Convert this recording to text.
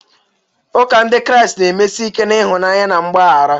Ụka Ndị Kraịst na-emesi ike na ịhụnanya na mgbaghara.